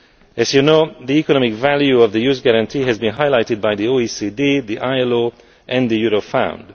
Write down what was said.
As you know, the economic value of the Youth Guarantee has been highlighted by the OECD, the ILO and Eurofound.